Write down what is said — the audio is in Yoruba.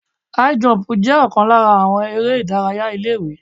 High jump jẹ́ ọ̀kan lára àwọn eré ìdárayá ilé ìwé.